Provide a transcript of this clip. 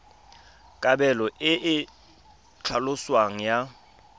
kabelo e e tlhaloswang ya